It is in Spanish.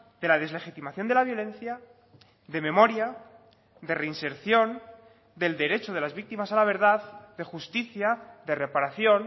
de la deslegitimación de la violencia de memoria de reinserción del derecho de las víctimas a la verdad de justicia de reparación